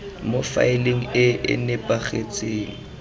mo faeleng e e nepagetseng